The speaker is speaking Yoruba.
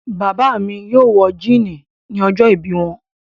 Bàbá mi yóò wọ jíínì ni ọjọ́ọ̀bí wọn.